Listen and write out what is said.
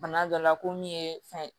Bana dɔ la ko min ye fɛn ye